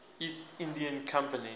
east india company